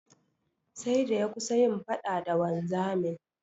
Sai da ya kusa yin faɗa da wanzamin.